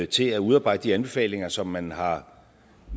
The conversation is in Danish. til at udarbejde de anbefalinger som man har